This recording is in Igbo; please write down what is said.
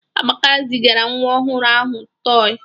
Amaka zigara nwa ọhụrụ ahụ tọị.